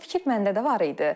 Bu fikir məndə də var idi.